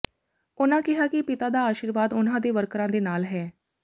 ਉਨ੍ਹਾਂ ਕਿਹਾ ਕਿ ਪਿਤਾ ਦਾ ਆਸ਼ੀਰਵਾਦ ਉਨ੍ਹਾਂ ਤੇ ਵਰਕਰਾਂ ਦੇ ਨਾਲ ਹੈ